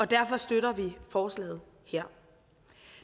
derfor støtter vi forslaget her